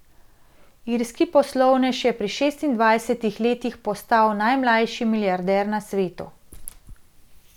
Irski poslovnež je pri šestindvajsetih letih postal najmlajši milijarder na svetu.